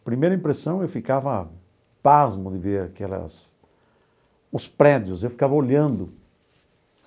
A primeira impressão, eu ficava pasmo de ver aquelas os prédios, eu ficava olhando.